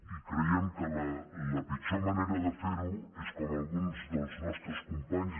i creiem que la pitjor ma·nera de fer·ho és com alguns dels nostres companys